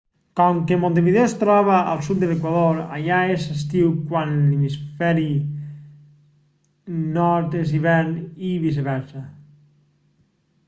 com que montevideo es troba al sud de l'equador allà és estiu quan a l'hemisferi nord és hivern i viceversa